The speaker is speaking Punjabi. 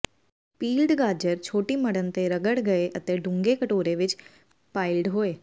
ਪੀਲਡ ਗਾਜਰ ਛੋਟੀ ਮੜਣ ਤੇ ਰਗੜ ਗਏ ਅਤੇ ਡੂੰਘੇ ਕਟੋਰੇ ਵਿੱਚ ਪਾਇਲਡ ਹੋਏ